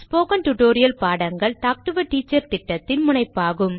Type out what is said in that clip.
spoken tutorial பாடங்கள் talk to a teacher திட்டத்தின் முனைப்பாகும்